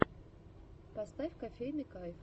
поставь кофейный кайф